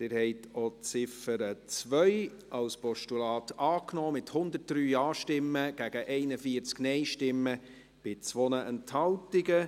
Sie haben auch die Ziffer 2 als Postulat angenommen, mit 103 Ja- gegen 41 Nein-Stimmen bei 2 Enthaltungen.